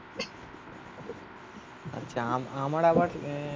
আচ্ছা আমার আবার আহ